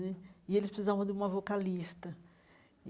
Né e eles precisavam de uma vocalista.